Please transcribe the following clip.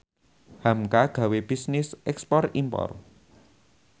hamka gawe bisnis ekspor impor